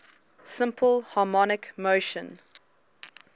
simple harmonic motion